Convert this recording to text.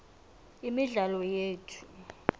imidlalo yethu